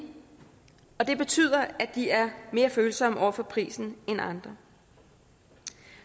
og det betyder at de er mere følsomme over for prisen end andre